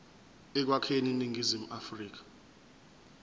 ekwakheni iningizimu afrika